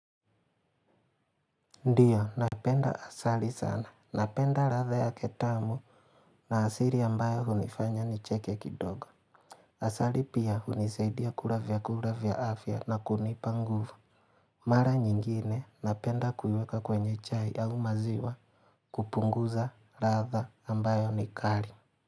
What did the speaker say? Ndiyo, napenda asali sana. Napenda ladha yake tamu na asili ambayo hunifanya nicheke kidogo. Asali pia hunisaidia kula vyakula vya afya na kunipa nguvu. Mara nyingine napenda kuiweka kwenye chai ya au maziwa kupunguza ladha ambayo ni kali.